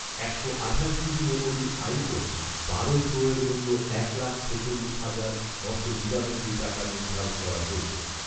একশো আঠাশ জিবি মেমরির আইফোন বারো প্রোয়ের মূল্য এক লাখ ছেচল্লিশ হাজার নশো নিরানব্বই টাকা নির্ধারণ করা হয়েছে